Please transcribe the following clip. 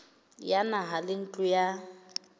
ya naha le ntlo ya